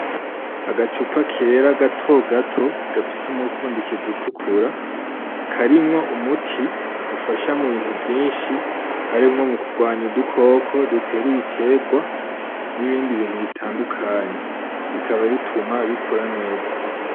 Agacupa kera gatogato gafise umufuniko utukura, karimwo umuti ufasha mubintu vyinshi harimwo kugwanya udukoko dutera Ibiterwa, n'ibindi bintu bitandukanye bikaba bituma bikura neza.